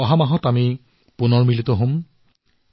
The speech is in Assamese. আগন্তুক মাহত পুনৰ মিলিত হম